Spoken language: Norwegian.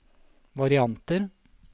varianter